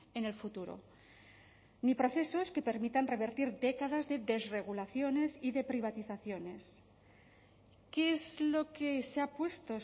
en el futuro ni procesos que permitan revertir décadas de desregulaciones y de privatizaciones qué es lo que se ha puesto